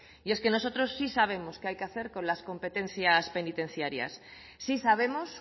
y es que nosotros sí sabemos qué hay que hacer con las competencias penitenciarias sí sabemos